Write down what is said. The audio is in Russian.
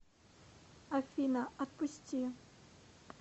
афина отпусти